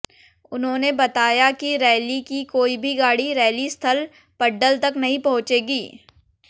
उन्होंने बताया कि रैली की कोई भी गाड़ी रैली स्थल पड्डल तक नहीं पहुंचेगी